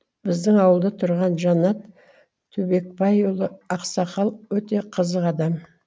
біздің ауылда тұрған жанат түбекбайұлы ақсақал өте қызық адам